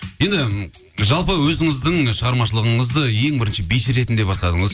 енді жалпы өзіңіздің шығармашылығыңызды ең бірінші биші ретінде бастадыңыз